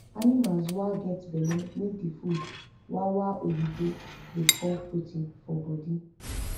animals wa get belle need the food wa wa oyibo da call protein for body